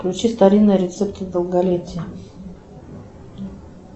включи старинные рецепты долголетия